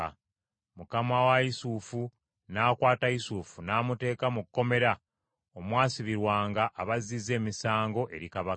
Mukama wa Yusufu n’akwata Yusufu n’amuteeka mu kkomera omwasibirwanga abazzizza emisango eri kabaka.